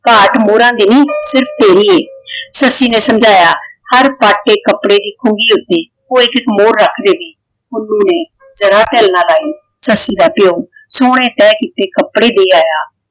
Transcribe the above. ਘਾਟ ਮੋਰਾਂ ਦੀ ਨੀ ਸਿਰਫ਼ ਤੇਰੀ ਹੈ। ਸੱਸੀ ਨੇ ਸਮਝਾਇਆ ਹਰ ਪਾਟੇ ਕੱਪੜੇ ਇੱਕੋ ਨਹੀਂ ਹੁੰਦੇ। ਕੋਈ ਇੱਕ ਮੋਹਰ ਰੱਖ ਦੇਵੇ। ਪੁੰਨੂੰ ਨੇ ਜਰਾ ਢਿੱਲ ਨਾ ਲਾਈ। ਸੱਸੀ ਦਾ ਪਿਓ ਸੋਹਣੇ ਤਹਿ ਕੀਤੇ ਕੱਪੜੇ ਦੇ ਆਇਆ।